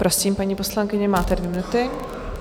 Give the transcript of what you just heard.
Prosím, paní poslankyně, máte dvě minuty.